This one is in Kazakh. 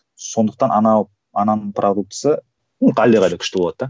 сондықтан анау ананың продуктісі әлдеқайда күшті болады да